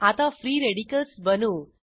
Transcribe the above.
आता free radicals बनवू